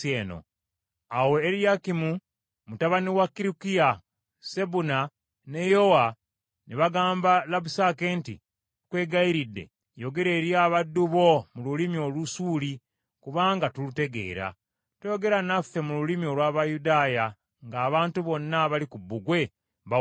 Awo Eriyakimu mutabani wa Kirukiya, Sebuna ne Yowa ne bagamba Labusake nti, “Tukwegayiridde yogera eri abaddu bo mu lulimi Olusuuli, kubanga tulutegeera. Toyogera naffe mu lulimi olw’Abayudaaya ng’abantu bonna abali ku bbugwe bawuliriza.”